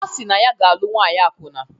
Ọ si na ọ ga-alụ nwaanyị akwụna